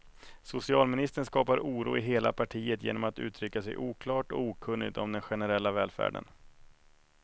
Socialministern skapar oro i hela partiet genom att uttrycka sig oklart och okunnigt om den generella välfärden.